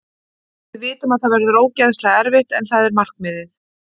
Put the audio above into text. Við vitum að það verður ógeðslega erfitt en það er markmiðið.